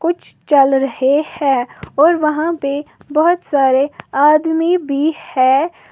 कुछ चल रहे हैं और वहाँ पे बहोत सारे आदमी भी हैं।